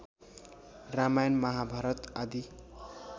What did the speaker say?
रामायण महाभारत आदि